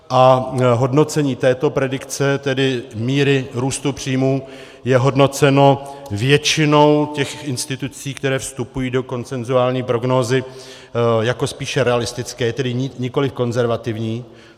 A hodnocení této predikce, tedy míry růstu příjmů, je hodnoceno většinou těch institucí, které vstupují do konsenzuální prognózy, jako spíše realistické, tedy nikoliv konzervativní.